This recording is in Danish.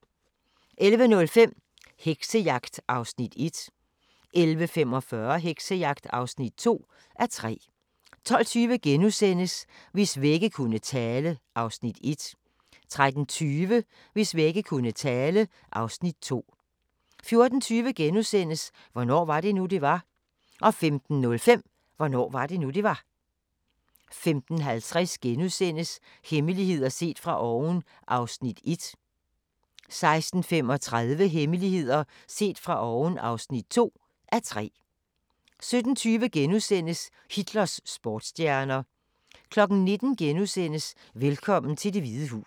11:05: Heksejagt (1:3) 11:45: Heksejagt (2:3) 12:20: Hvis vægge kunne tale (Afs. 1)* 13:20: Hvis vægge kunne tale (Afs. 2) 14:20: Hvornår var det nu, det var? * 15:05: Hvornår var det nu, det var? 15:50: Hemmeligheder set fra oven (1:3)* 16:35: Hemmeligheder set fra oven (2:3) 17:20: Hitlers sportsstjerner * 19:00: Velkommen til Det Hvide Hus (1:2)*